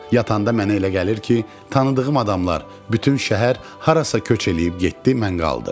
Yatanda mənə elə gəlir ki, tanıdığım adamlar, bütün şəhər harasa köç eləyib getdi, mən qaldım.